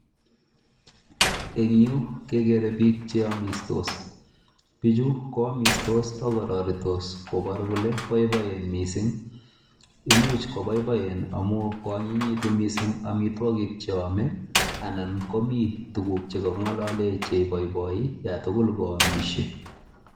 En yu kegeere biik che omistos. Bichu koamistos agororitos koboru kole boiboen mising. Imuch koboiboen amun koanyinyegitu mising amitwogik cheome anan komi tuguk che kong'olale cheiboiboi iyan tugul koamishe.